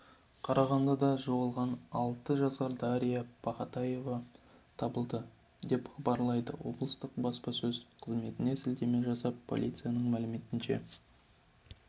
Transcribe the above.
қарағандыда жоғалған алты жасар дарья пахатаева табылды деп хабарлайды облыстық баспасөз қызметіне сілтеме жасап полицияның мәліметінше